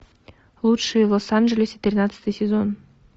лучшие в лос анджелесе тринадцатый сезон